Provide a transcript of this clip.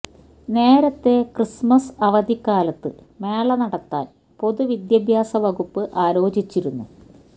നേരത്തെ ക്രിസ്മസ് അവധിക്കാലത്ത് മേള നടത്താന് പൊതു വിദ്യാഭ്യാസ വകുപ്പ് ആലോചിച്ചിരുന്നു